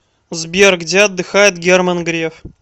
сбер где отдыхает герман греф